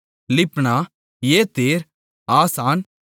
லிப்னா Ether Asan